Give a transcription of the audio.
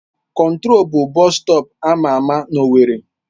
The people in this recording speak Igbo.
Control bụ bọstọp ama ama na owerri